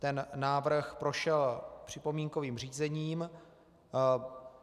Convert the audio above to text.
Ten návrh prošel připomínkovým řízením.